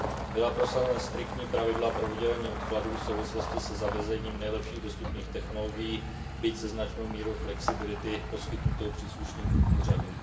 Byla prosazena striktní pravidla pro udělení odkladů v souvislosti se zavedením nejlepších dostupných technologií, byť se značnou mírou flexibility poskytnutou příslušným úřadům.